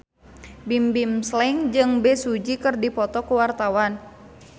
Bimbim Slank jeung Bae Su Ji keur dipoto ku wartawan